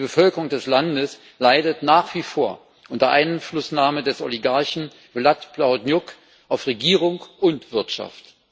Die Bevölkerung des Landes leidet nach wie vor unter der Einflussnahme des Oligarchen Vlad Plahotniuc auf Regierung und Wirtschaft.